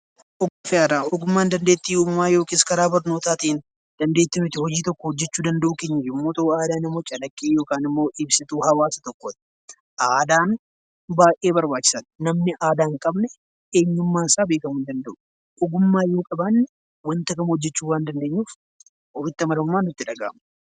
Ogummaan dandeettii addaa karaa barnootaatiin dandeetti nuti hojii tokko hojjechuu dandeenyu yammuu ta'u; aadaan immoo calaqqee yookiin immoo ibsituu eenyummaa Saba tokkooti. Aadaan baayyee barbaachisaadha. Namni aadaa hin qabne eenyummaan isaa beekamuu hin danda'u. Ogummaa yoo qabaanne wanta kamuu hojjechuu kan dandeenyuu fi ofitti amanamummaatu nutti dhaga'ama.